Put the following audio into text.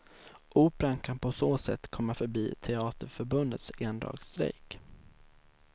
Operan kan på så sätt komma förbi teaterförbundets endagsstrejk.